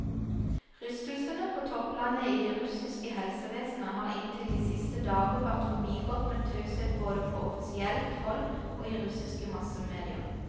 Rystelsene på topplanet i det russiske helsevesenet har inntil de siste dager vært forbigått med taushet både på offisielt hold og i russiske massemedier.